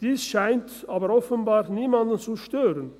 Dies scheint aber offenbar aber niemanden zu stören.